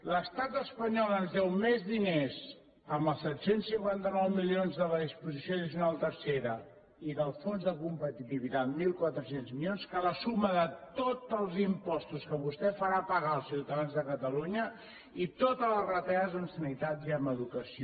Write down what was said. l’estat espanyol ens deu més diners amb els set cents i cinquanta nou milions de la disposició addicional tercera i del fons de competitivitat mil quatre cents milions que la suma de tots els impostos que vostè farà pagar als ciutadans de catalunya i totes les retallades en sanitat i en educació